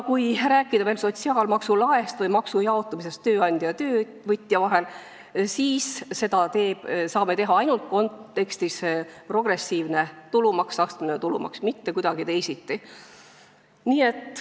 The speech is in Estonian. " Kui rääkida veel sotsiaalmaksu laest või maksu jaotumisest tööandja ja töövõtja vahel, siis seda saame teha ainult progressiivse, astmelise tulumaksu kontekstis, mitte kuidagi teisiti.